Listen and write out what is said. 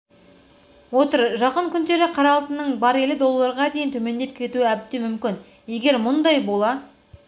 отыр жақын күндері қара алтынның барелі долларға дейін төмендеп кетуі әбден мүмкін егер мұндай бола